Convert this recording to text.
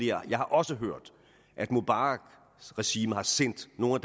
jeg har også hørt at mubaraks regime har sendt nogle af